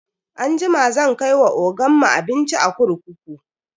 Anjima zan kai wa ogan mu abinci a kurkuku.